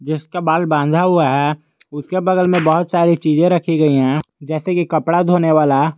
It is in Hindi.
जिसका बाल बंधा हुआ है उसके बगल में बहुत सारी चीज रखी गई है जैसे की कपड़ा धोने वाला--